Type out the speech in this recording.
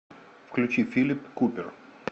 включи филип купер